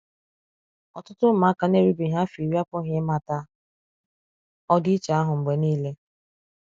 Ọtụtụ ụmụaka na-erubeghị afọ iri apụghị ịmata ọdịiche ahụ mgbe nile.